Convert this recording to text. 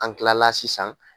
An tilala sisan